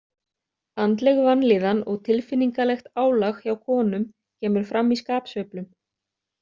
Andleg vanlíðan og tilfinningalegt álag hjá konum kemur fram í skapsveiflum.